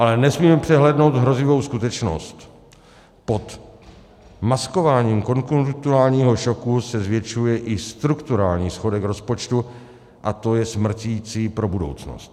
Ale nesmíme přehlédnout hrozivou skutečnost: pod maskováním konjunkturálního šoku se zvětšuje i strukturální schodek rozpočtu, a to je smrticí pro budoucnost.